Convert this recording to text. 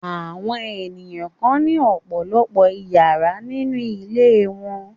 Àwọn ènìyàn kan ní ọ̀pọ̀lọpọ̀ ìyàrá nínú ilé wọn.